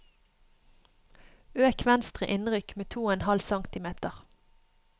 Øk venstre innrykk med to og en halv centimeter